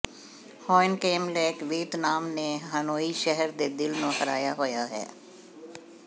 Hoan Kiem lake Vietnam ਦੇ Hanoi ਸ਼ਹਿਰ ਦੇ ਦਿਲ ਨੂੰ ਹਰਾਇਆ ਹੋਇਆ ਹੈ